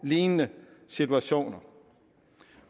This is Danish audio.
lignende situationer